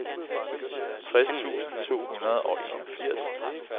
tres tusind to hundrede og enogfirs